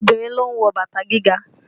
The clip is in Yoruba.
Obìnrin ló ń wọ bàtà gíga